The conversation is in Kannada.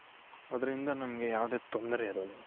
ಅದರಿಂದ ನಮಗೆ ಯಾವುದೇ ತೊಂದ್ರೆ ಇರೋಲ್ಲ